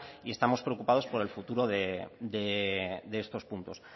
y estamos preocupados por el futuro de estos puntos